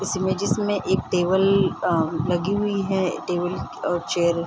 इस इमेजस मे एक टेबल आ लगी हुई है टेबल और चेयर --